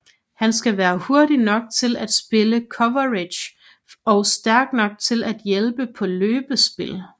Han skal være hurtig nok til at spille coverage og stærk nok til at hjælpe på løbespil